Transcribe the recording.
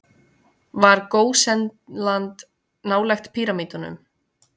Var Gósenland nálægt píramídunum?